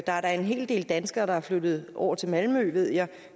er da en hel del danskere der er flyttet over til malmø ved jeg